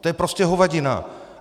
To je prostě hovadina!